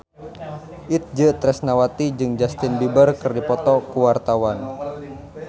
Itje Tresnawati jeung Justin Beiber keur dipoto ku wartawan